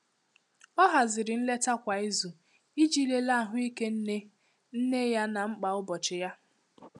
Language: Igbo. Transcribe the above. O haziri nleta kwa izu iji lelee ahụike nne nne ya na mkpa ụbọchị ya.